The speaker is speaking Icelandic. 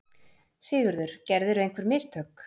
SIGURÐUR: Gerðirðu einhver mistök?